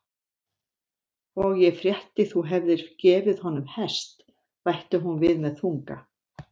Og ég frétti þú hefðir gefið honum hest, bætti hún við með þunga.